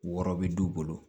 Wɔrɔ be du bolo